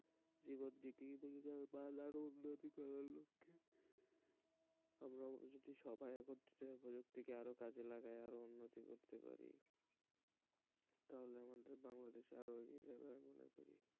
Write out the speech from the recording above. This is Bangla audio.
জীবনে আরও উন্নতি করার লক্ষ্যে আমরা যদি সবাই একত্রিত হয়ে প্রযুক্তিকে আরো কাজে লাগাই আরো উন্নতি করতে পারি তাহলে আমাদের বাংলাদেশ আরো এগিয়ে যাবে আমি মনে করি,